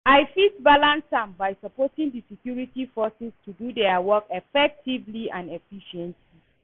I fit balance am by supporting di security forces to do their work effectively and efficiently.